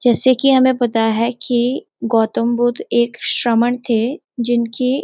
जैसे कि हमें पता है कि गौतम बुद्ध एक श्रमण थे जिनकी --